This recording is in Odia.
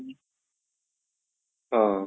ହଁ